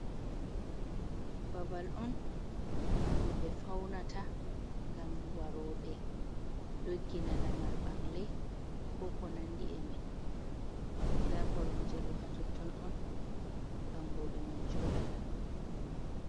Babal on ɗum ɓe faunata ngam waroɓe doggina lamar ɓangle ko ko nandi be mai. Nda koromje ɗo ha totton on ɓangoɓe man joɗata.